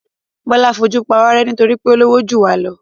Bọ́lá fojú pawárẹ́ nítorí pé ó lówó jù wá lọ.